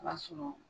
B'a sɔrɔ